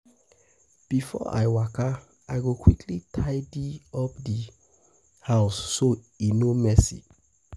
Before I waka, I go quickly tidy up di house so e no messy.